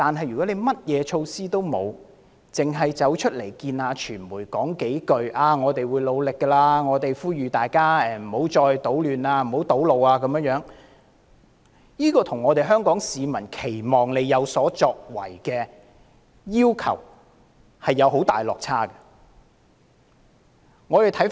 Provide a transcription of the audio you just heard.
如果甚麼措施也欠奉，光對着傳媒說會繼續努力，並呼籲大家不要搗亂和堵路，這未免與香港市民期望她有所作為的要求出現極大落差。